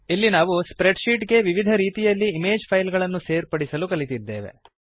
ಇಲ್ಲಿ ನಾವು spreadsheet ಗೆ ವಿವಿಧ ರೀತಿಯಲ್ಲಿ ಇಮೇಜ್ ಫೈಲ್ ಗಳನ್ನು ಸೇರ್ಪಡಿಸಲು ಕಲಿತಿದ್ದೇವೆ